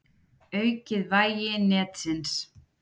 Aukið vægi netsins